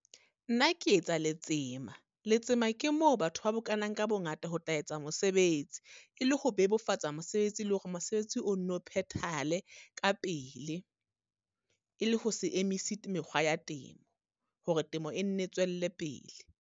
Nna ke etsa letsema. Letsema ke moo batho ba bokanang ka bongata ho tla etsa mosebetsi. E le ho bebofatsa mosebetsi le hore mosebetsi o nno phethahale ka pele. E le ho se emisi mekgwa ya temo, hore temo e nne tswelle pele.